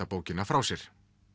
bókina frá sér